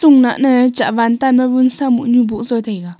nahnai chahwan tan ma vunsa muhnyui bohsa taiga.